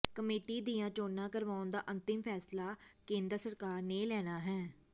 committee ਦੀਆਂ ਚੋਣਾਂ ਕਰਵਾਉਣ ਦਾ ਅੰਤਿਮ ਫੈਸਲਾ ਕੈਂਦਰ ਸਰਕਾਰ ਨੇ ਲੈਣਾ ਹੈ